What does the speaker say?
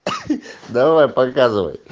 давай показывай